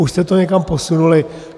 Už jste to někam posunuli?